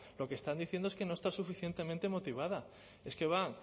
lo que están diciendo es que no está suficientemente motivada es que va